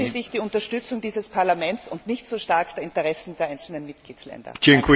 Sichern Sie sich die Unterstützung dieses Parlaments und nicht so stark die Interessen der einzelnen Mitgliedstaaten!